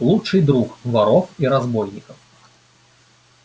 лучший друг воров и разбойников